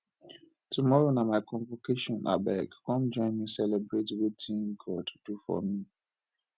tomorrow na my convocation abeg come join me celebrate wetin god do for me